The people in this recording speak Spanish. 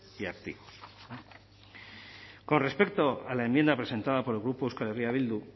y activos con respecto a la enmienda presentada por el grupo euskal herria bildu